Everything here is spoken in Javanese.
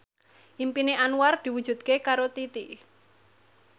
impine Anwar diwujudke karo Titi